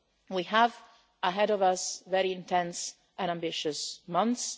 We have ahead of us very intense and ambitious months.